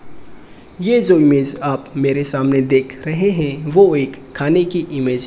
ये जो इमेज आप मेरे सामने देख रहे हैं वो एक खाने की इमेज --